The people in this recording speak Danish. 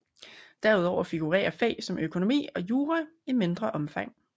Derudover figurerer fag som økonomi og jura i mindre omfang